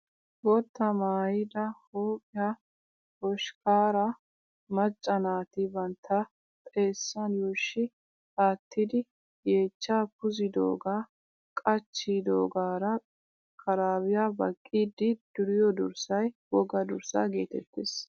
Boottaa maayyida huphphiyaa hoshkkaaraa macca naati bantta xeessan yuushshi aatidi yeechchaa puuzidooga qachchidoogaara kaaraabiyaa baqqiiddii duriyoo durssayi wogaa durssaa getettes.